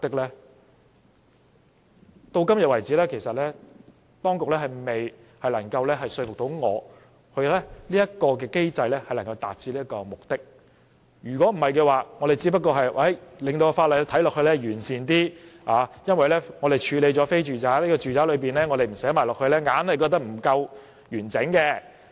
直到今天為止，政府當局未能說服我這個機制能夠達致這個目的，我們只是令法例看起來更完善，因為我們處理了非住宅的情況，如果不把住宅包括在內，總覺得不夠完整。